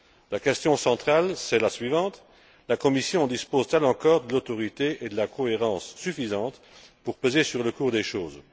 La question centrale, c'est la suivante la Commission dispose t elle encore de l'autorité et de la cohérente suffisantes pour peser sur le cours des choses?